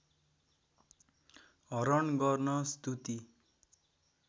हरण गर्न स्तुति